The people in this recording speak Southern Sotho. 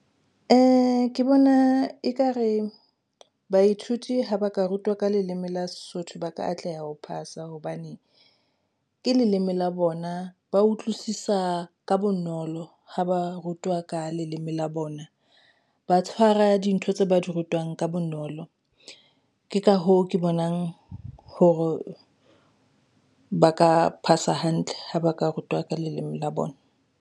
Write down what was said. Ke bona ekare baithuti ha ba ka rutwa ka leleme la Sesotho ba ka atleha ho phasa hobane ke leleme la bona. Ba utlwisisa ka bonolo ha ba rutwa ka leleme la bona. Ba tshwara dintho tse ba di rutwang ka bonolo. Ke ka hoo ke bonang hore ba ka phasa hantle ha ba ka rutwa ka leleme la bona.